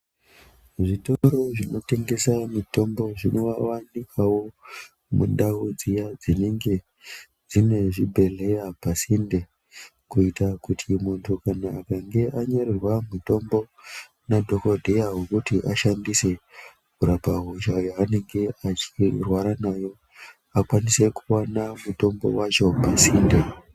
Zvitoro zvinotengesa mitombo zvinovanikavo mundau dziya dzinenge dzine zvibhedhleya pasinde. Kuita kuti muntu kana akange anyorerwa mutombo nadhogodheya vokuti ashandise kurapa hosha yaanenge achirwara nayo. Akwanise kuvana mutombo vacho pasinde.